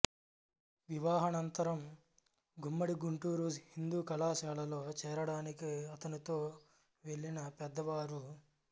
వివాహానంతరం గుమ్మడి గుంటూరు హిందూ కళాశాలలో చేరడానికి అతనుతో వెళ్ళిన పెద్ద వారు